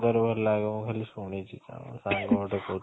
ଲାଗିବ ଖାଲି ଶୁଣିଛି ସାଙ୍ଗ ଗୋଟେ କହୁଥିଲା